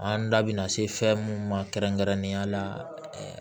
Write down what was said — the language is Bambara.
An da bina se fɛn mun ma kɛrɛnkɛrɛnnenya la